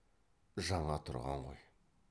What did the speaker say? жаңа тұрған ғой